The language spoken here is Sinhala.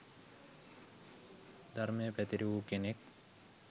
ධර්මය පැතිර වූ කෙනෙක්